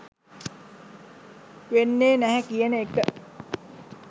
වෙන්නේ නැහැ කියන එක.